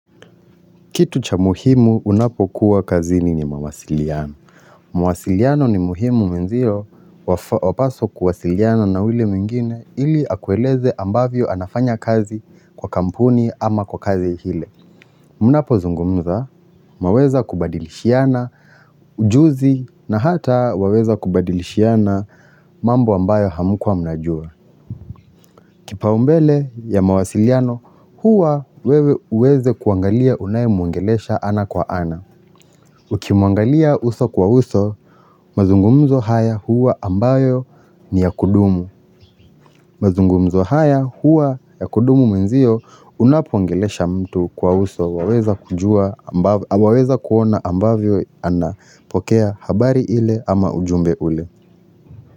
Kitu cha muhimu unapo kuwa kazini ni mawasiliano. Mawasiliano ni muhimu mwenzio wapaswa kuwasiliana na yue mwingine ili akueleze ambavyo anafanya kazi kwa kampuni ama kwa kazi ile. Unapozungumza mwaweza kubadilishiana ujuzi na hata waweza kubadilishiana mambo ambayo hamkuwa mnajua. Kipaumbele ya mawasiliano huwa wewe uweze kuangalia unaye mwongelesha ana kwa ana. Ukimuangalia uso kwa uso, mazungumzo haya huwa ambayo ni ya kudumu mazungumzo haya huwa ya kudumu mwenzio unapoongelesha mtu kwa uso waweza kujua Waweza kuona ambavyo anapokea habari ile ama ujumbe ule.